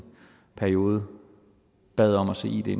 periode bad om at se id